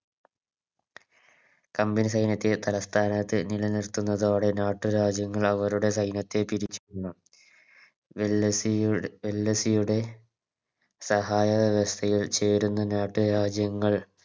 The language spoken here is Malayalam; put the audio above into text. Company സൈന്യത്തെ തലസ്ഥാനത്ത് നിലനിർത്തുന്നതോടെ നാട്ടു രാജ്യങ്ങൾ അവരുടെ സൈന്യത്തെ പിരിച്ചുവിടുന്നു ഡെല്ലസിയു ഡെല്ലസിയുടെ സഹായവ്യവസ്ഥയിൽ ചേരുന്ന നാട്ടുരാജ്യങ്ങൾ